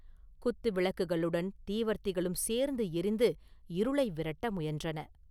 குத்துவிளக்குகளுடன் தீவர்த்திகளும் சேர்ந்து எரிந்து இருளை விரட்ட முயன்றன.